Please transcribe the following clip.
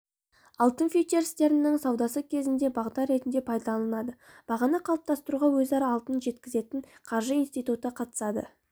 алтын фьючерстерінің саудасы кезінде бағдар ретінде пайдаланылады бағаны қалыптастыруға өзара алтын жеткізетін қаржы институты қатысады